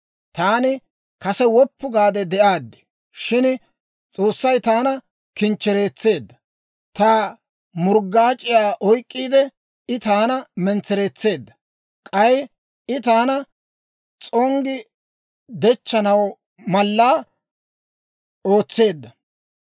«Taani kase woppu gaade de'aaddi; shin S'oossay taana kinchchereetseedda; ta murggaac'iyaa oyk'k'iide, I taana mentsereetseedda. K'ay I taana s'onggi dechchanaw malla ootseedda;